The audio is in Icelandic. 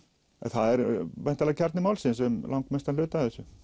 það er væntanlega kjarni málsins um lang mestan hluta af þessu